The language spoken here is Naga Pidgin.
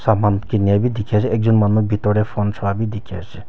saman kehnga bi dekhi ase ekjun manu phone juhabi dekhi ase.